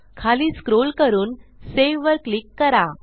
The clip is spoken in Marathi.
खाली स्क्रोल करून सावे वर क्लिक करा